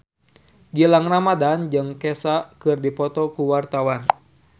Gilang Ramadan jeung Kesha keur dipoto ku wartawan